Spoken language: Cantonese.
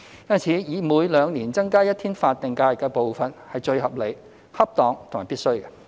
因此，每兩年增加一天法定假日的步伐是最合理、恰當和必須的。